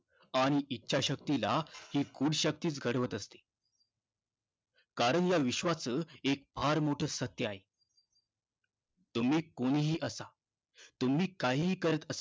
आणि इच्छाशक्तीला ही गूढ शक्तीचं घडवत असते. कारण या विश्वाचं एक फार मोठं सत्य आहे. तुम्ही कुणीही असा, तुम्ही काहीही करत असा